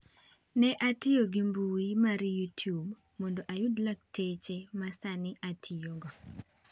Ne atiyo gi mbui mar Youtube mondo ayud lakteche ma sani atiyogo.